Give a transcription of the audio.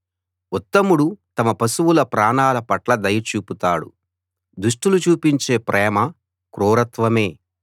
ఉత్తముడు తమ పశువుల ప్రాణాల పట్ల దయ చూపుతాడు దుష్టులు చూపించే ప్రేమ క్రూరత్వమే